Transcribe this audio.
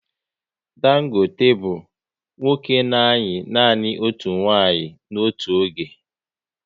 Dangote bụ nwoke na ayi nanị otu nwanyị n'otu oge